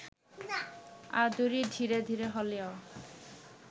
আদুরি ধীরে ধীরে হলেও